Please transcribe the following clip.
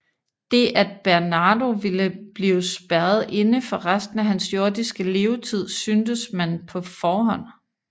Det at Bernardo ville blive spærret inde for resten af hans jordiske levetid syntes man på forhånd